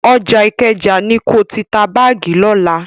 Ọjà Ìkẹjà ni ko ti ta báàgì lọ́la.